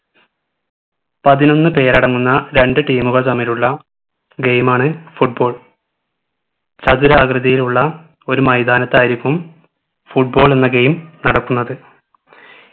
പതിനൊന്ന് പേരടങ്ങുന്ന രണ്ടു team കൾ തമ്മിലുള്ള game ആണ് football ചതുരാകൃതിയിലുള്ള ഒരു മൈതാനത്തായിരിക്കും football എന്ന game നടക്കുന്നത്